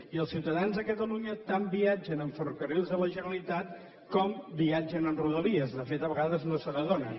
i els ciutadans de catalunya tant viatgen amb ferrocarrils de la generalitat com viatgen amb rodalies de fet a vegades ni se n’adonen